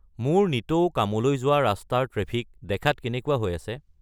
মোৰ নিতৌ কামলৈ যোৱা ৰাস্তাৰ ট্ৰেফিক দেখাত কেনেকুৱা হৈ আছে